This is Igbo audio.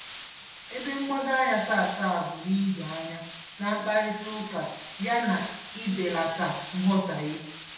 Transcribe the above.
Ebe mgbado anya tata bụ n'ido anya na mkparịtaụka ya na ibelata nghọtaghie.